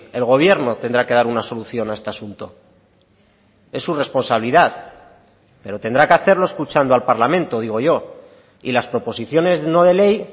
el gobierno tendrá que dar una solución a este asunto es su responsabilidad pero tendrá que hacerlo escuchando al parlamento digo yo y las proposiciones no de ley